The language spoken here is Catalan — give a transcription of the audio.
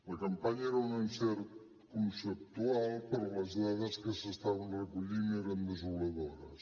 la campanya era un encert conceptual però les dades que s’estaven recollint eren desoladores